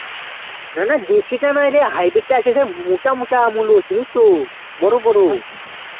না না, দেশিটা নয় রে highbred টা আছে সে মোটা মোটা মূলো চিনিস তো বড় বড়